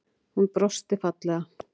Hún brosti fallega.